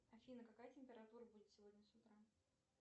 афина какая температура будет сегодня с утра